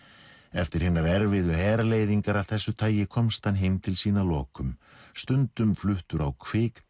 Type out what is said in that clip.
eftir hinar erfiðu herleiðingar af þessu tagi komst hann heim til sín að lokum stundum fluttur á